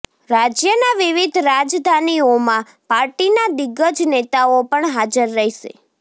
રાજ્યના વિવિધ રાજધાનીઓમાં પાર્ટીના દિગ્ગજ નેતાઓ પણ હાજર રહેશે